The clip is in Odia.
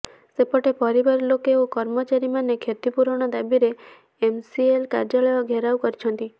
ସେପଟେ ପରିବାର ଲୋକେ ଓ କର୍ମଚାରୀ ମାନେ କ୍ଷତିପୂରଣ ଦାବିରେ ଏମସିଏଲ କାର୍ୟ୍ୟାଳୟ ଘେରାଉ କରିଛନ୍ତି